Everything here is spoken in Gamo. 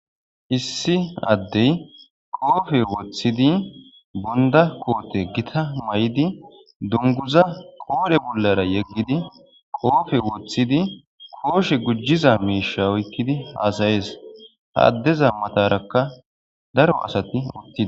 Issi addey qoofe woththidi bonda koote gita may'idi dunguza qoodhe bollara yeggidi qoofe woththidi kooshe gujjiza miisha oykkidi haasayees haaddeza matarakka daro asati uttidi.